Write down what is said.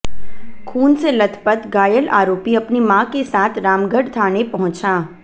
खून से लथपथ घायल आरोपी अपनी मां के साथ रामगढ़ थाने पहुंचा